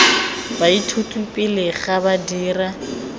baithuti pele ga ba dira